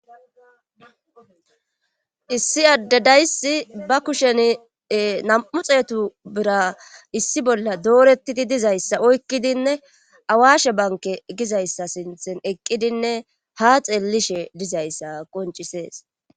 issi addedayssi ba kushen nam7u xeetu bira issi bolla doorettidi dizayssa oykkidinne awashe banke gizayssa sinthen eqqidinne ha xeellishe dizayssa qoncisees